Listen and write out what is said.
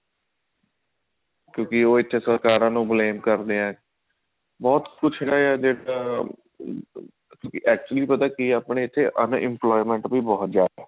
ਕਿਉਂਕਿ ਉਹ ਬੱਚੇ ਸਰਕਾਰਾਂ ਨੂੰ blame ਕਰਦੇ ਆ ਬਹੁਤ ਕੁਝ ਹੈਗਾ ਜੇ actually ਪਤਾ ਕੀ ਹੈ ਆਪਣੇ ਇੱਥੇ unemployment ਵੀ ਬਹੁਤ ਹੈ